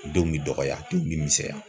Denw bi dɔgɔya denw bi misɛnya.